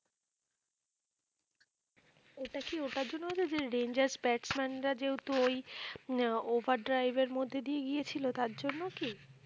ওটা কি ওটার জন্য হয়েছে যে rangers batsman রা যেহেতু ওই আহ overdrive এর মধ্যে দিয়েই গিয়েছিলো তার জন্য কি?